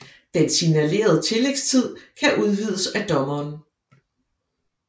Den signalerede tillægstid kan udvides af dommeren